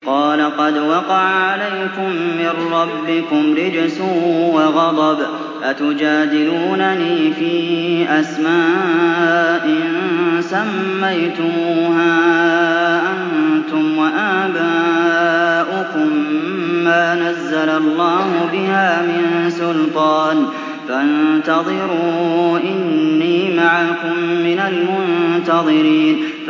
قَالَ قَدْ وَقَعَ عَلَيْكُم مِّن رَّبِّكُمْ رِجْسٌ وَغَضَبٌ ۖ أَتُجَادِلُونَنِي فِي أَسْمَاءٍ سَمَّيْتُمُوهَا أَنتُمْ وَآبَاؤُكُم مَّا نَزَّلَ اللَّهُ بِهَا مِن سُلْطَانٍ ۚ فَانتَظِرُوا إِنِّي مَعَكُم مِّنَ الْمُنتَظِرِينَ